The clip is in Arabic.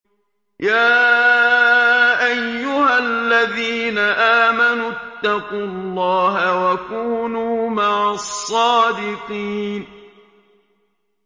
يَا أَيُّهَا الَّذِينَ آمَنُوا اتَّقُوا اللَّهَ وَكُونُوا مَعَ الصَّادِقِينَ